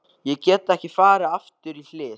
Ég get ekki farið aftur í hlið